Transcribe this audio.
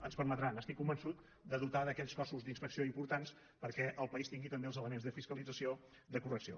ens permetrà n’estic convençut de dotar d’aquells cossos d’inspecció importants perquè el país tingui també els elements de fiscalització de correcció